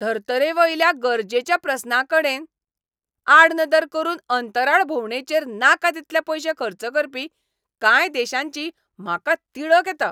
धर्तरेवयल्या गरजेच्या प्रस्नांकडेनआडनदर करून अंतराळ भोवंडेचेर नाका तितले पयशे खर्च करपी कांय देशांची म्हाका तिडक येता.